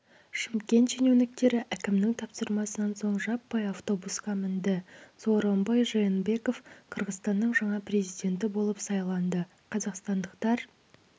шымкент шенеуніктері әкімнің тапсырмасынан соң жаппай автобусқа мінді сооронбай жээнбеков қырғызстанның жаңа президенті болып сайланды қазақстандықтар